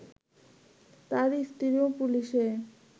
তার স্ত্রীও পুলিশে